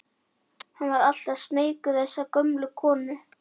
Hann var alltaf smeykur við þessa gömlu konu.